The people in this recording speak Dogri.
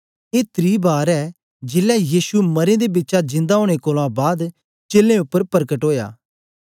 ए त्री बार ऐ जेलै यीशु मरें दे बिचा जिंदा ओनें कोलां बाद चेलें उपर परकट ओया